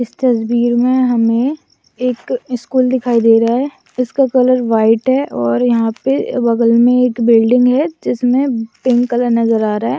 इस तस्वीर में हमे एक स्कूल दिखाई दे रहा है इसका कलर व्हाइट है और यहां पे बगल में एक बिल्डिंग है जिसमें पिंक कलर नजर आ रहा है।